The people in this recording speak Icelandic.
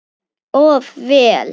Of vel.